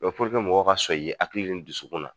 Dɔ mɔgɔw ka sɔn i ye hakili ni dusukun na